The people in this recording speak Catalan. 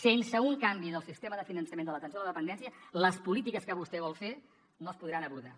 sense un canvi del sistema de finançament de l’atenció a la dependència les polítiques que vostè vol fer no es podran abordar